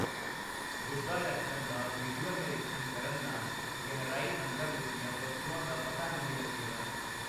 ਗੁੱਦਾ rectum ਦਾ visual ਨਿਰੀਖਣ ਕਰਨ ਨਾਲ ਗਹਿਰਾਈ ਅੰਦਰ ਲੁਕੀਆਂ ਵਸਤੂਆਂ ਦਾ ਪਤਾ ਨਹੀਂ ਲੱਗੇਗਾ।